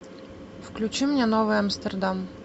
включи мне новый амстердам